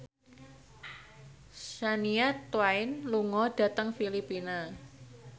Shania Twain lunga dhateng Filipina